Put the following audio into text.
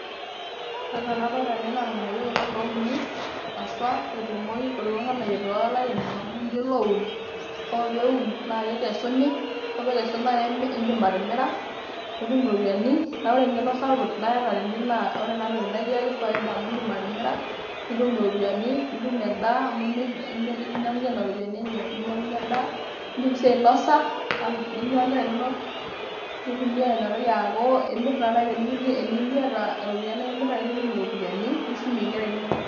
Ore enaa enadolita naa irnganayio kulo louni haswa etumoyu kulo nganayio tolairemok amu ninche loun. ore peun naa kikesuni. ore pikesuni naa indi atiira nipik iropiyiani . naa ore engeno sapuk naata naa ore enatoki naa ekiaki faida amu indim atimira ,nitum iropiyiani ,nitum endaa amu tinimir ninyangunyie nena ropiyiani enye ninyangunyie endaa . indim si ainosa tenebo onkera inonok .